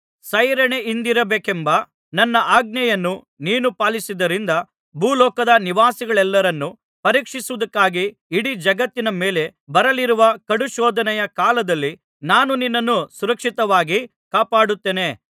ಸೈರಣೆಯಿಂದಿರಬೇಕೆಂಬ ನನ್ನ ಆಜ್ಞೆಯನ್ನು ನೀನು ಪಾಲಿಸಿದ್ದರಿಂದ ಭೂಲೋಕದ ನಿವಾಸಿಗಳೆಲ್ಲರನ್ನು ಪರೀಕ್ಷಿಸುವುದಕ್ಕಾಗಿ ಇಡೀ ಜಗತ್ತಿನ ಮೇಲೆ ಬರಲಿರುವ ಕಡುಶೋಧನೆಯ ಕಾಲದಲ್ಲಿ ನಾನು ನಿನ್ನನ್ನು ಸುರಕ್ಷಿತವಾಗಿ ಕಾಪಾಡುತ್ತೇನೆ